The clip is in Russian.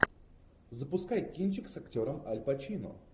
запускай кинчик с актером аль пачино